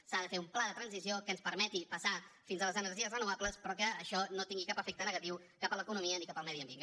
s’ha de fer un pla de transició que ens permeti passar a les energies renovables però que això no tingui cap efecte negatiu ni cap a l’economia ni cap al medi ambient